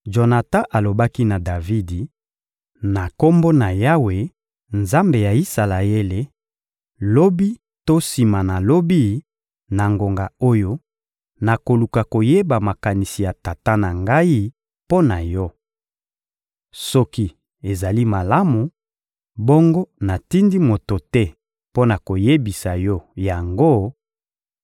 Jonatan alobaki na Davidi: «Na Kombo na Yawe, Nzambe ya Isalaele, lobi to sima na lobi, na ngonga oyo, nakoluka koyeba makanisi ya tata na ngai mpo na yo. Soki ezali malamu, bongo natindi moto te mpo na koyebisa yo yango,